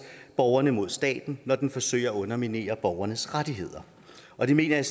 borgerne mod staten når den forsøger at underminere borgernes rettigheder og det mener jeg